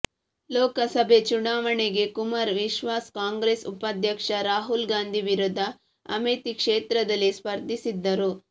ಲೋಕಸಭೆ ಚುನಾವಣೆಗೆ ಕುಮಾರ್ ವಿಶ್ವಾಸ್ ಕಾಂಗ್ರೆಸ್ ಉಪಾಧ್ಯಕ್ಷ ರಾಹುಲ್ ಗಾಂಧಿ ವಿರುದ್ಧ ಅಮೇಥಿ ಕ್ಷೇತ್ರದಲ್ಲಿ ಸ್ಪರ್ಧಿಸಿದ್ದರು